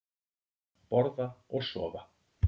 Borða og sofa.